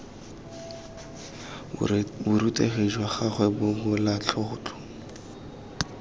borutegi jwa gagwe jwa bobalatlotlo